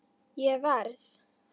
Ég verð!